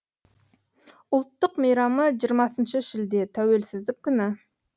ұлттық мейрамы жиырмасыншы шілде тәуелсіздік күні